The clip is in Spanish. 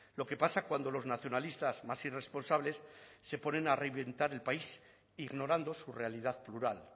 lo que pasa cuando los nacionalistas más irresponsables se ponen a reventar el país ignorando su realidad plural